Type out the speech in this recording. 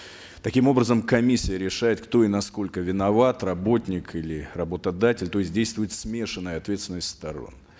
таким образом комиссия решает кто и насколько виноват работник или работодатель то есть действует смешанная ответственность сторон